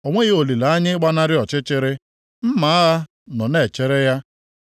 O nweghị olileanya ịgbanarị ọchịchịrị; mma agha nọ na-echere ya.